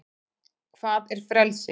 hvað er frelsi